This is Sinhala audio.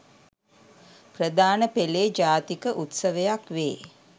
ප්‍රධාන පෙළේ ජාතික උත්සවයක් වේ.